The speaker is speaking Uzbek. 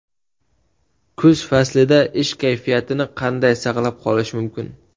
Kuz faslida ish kayfiyatini qanday saqlab qolish mumkin?.